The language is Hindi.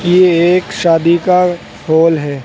ये एक शादी का हॉल है।